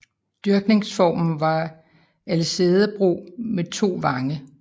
Dyrkningsformen var alsædebrug med 2 vange